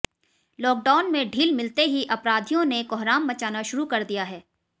lockdown में ढील मिलते ही अपराधियों ने कोहराम मचाना शुरू कर दिया है